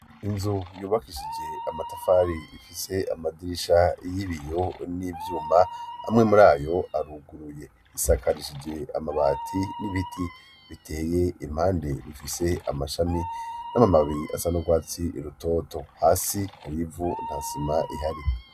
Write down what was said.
Inzu yubakishije amatafari ifise amadirisha y'ibiyo n'ivyuma amwe muri ayo aruguruye isakarishije amabati n'ibiti biteye impande rifise amashami n'amababi asa n'urwatsi rutoto hasi hari ivu nta sima ihari.